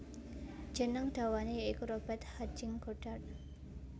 Jeneng dawane ya iku Robert Hutching Goddart